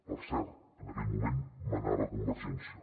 per cert en aquell moment manava convergència